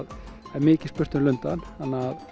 er mikið spurt um lundann þá